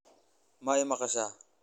ma i maqashay